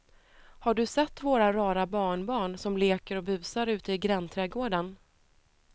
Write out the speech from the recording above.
Har du sett våra rara barnbarn som leker och busar ute i grannträdgården!